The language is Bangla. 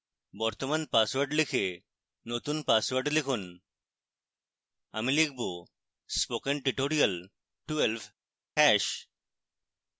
বর্তমান পাসওয়ার্ড লিখে নতুন পাসওয়ার্ড লিখুন আমি লিখব spokentutorial12 #